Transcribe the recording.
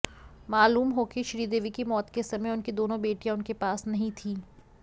मालूम हो कि श्रीदेवी की मौत के समय उनकी दोनों बेटियां उनके पास नहीं थीं